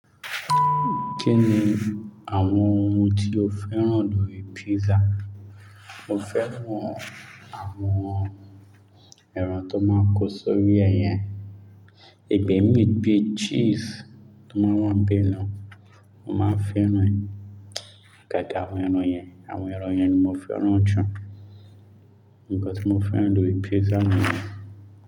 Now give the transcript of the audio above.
Kí ni àwọn oun tí o fẹ́ràn lórí pizza? Mo fẹ́ràn àwọn ẹran tó máa ń kó sórí ẹ yẹn igbé mii bí cheese tó máa ń wà n bẹ̀ naa, mo máa fẹ́ràn ẹ̀. Gáàgà àwọn ẹran yẹn, àwọn ẹran yẹn ni mo fẹ́ràn jù. Nǹkan tí mo fẹ́ràn lórí pizza ni yẹn.